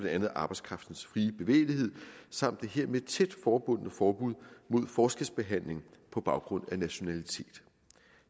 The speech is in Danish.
andet arbejdskraftens frie bevægelighed samt det hermed tæt forbundne forbud mod forskelsbehandling på baggrund af nationalitet